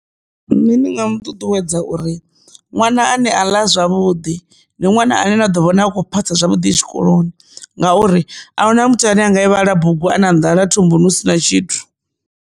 Nṋe ndi nga mu ṱuṱuwedza uri ṅwana ane a ḽa zwavhuḓi ndi ṅwana ane nda ḓo vhona akho phasa zwavhuḓi tshikoloni ngauri ahuna muthu ane anga i vhale bugu a na nḓala thumbuni hu si na tshithu.